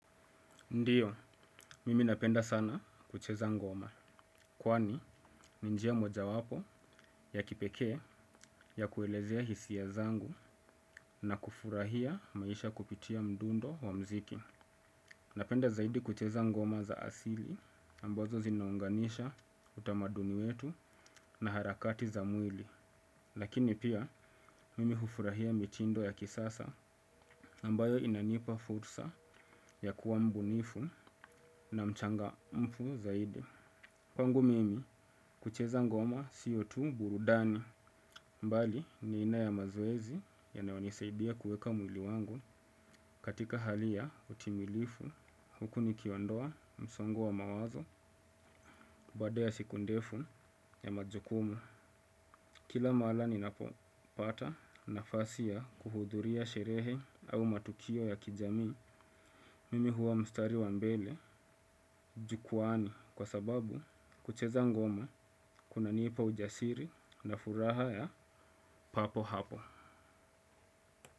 Ndiyo, mimi napenda sana kucheza ngoma, kwani ni njia mojawapo ya kipeke ya kuelezea hisiya zangu na kufurahia maisha kupitia mdundo wa mziki. Napenda zaidi kucheza ngoma za asili ambazo zinaunganisha utamaduni wetu na harakati za mwili. Lakini pia mimi hufurahia mitindo ya kisasa ambayo inanipa futsa ya kuwa mbunifu na mchangamfu zaidi. Kwangu mimi kucheza ngoma siotu burudani mbali ni aina ya mazoezi yanaonisaidia kueka mwili wangu katika hali ya utimilifu huku nikiondoa msongo wa mawazo baada ya siku ndefu ya majukumu. Kila mala ni napopata nafasi ya kuhudhuria sherehe au matukio ya kijami, mimi huwa mstari wa mbele, jukwani kwa sababu kucheza ngoma kuna nipa ujasiri na furaha ya papo hapo.